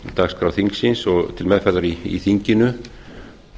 dagskrá þingsins og til meðferðar í þinginu